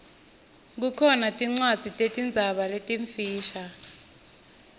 kukhona tincwadzi tetinzaba letimfisha